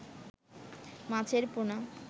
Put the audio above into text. মাছের পোনা